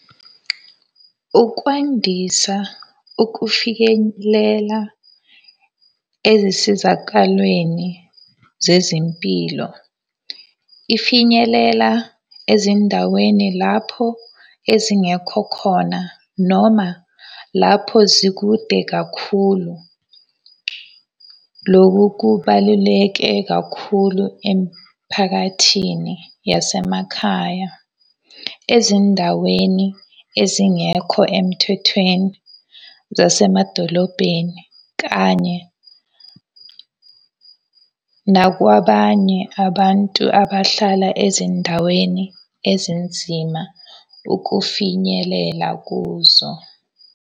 Ukwandisa ukufikelela ezisizakalweni zezempilo. Ifinyelela ezindaweni lapho ezingekho khona, noma lapho zikude kakhulu. Loku kubaluleke kakhulu emphakathini yasemakhaya ezindaweni ezingekho emthethweni zasemadolobheni kanye nakwabanye abantu abahlala ezindaweni ezinzima ukufinyelela kuzo.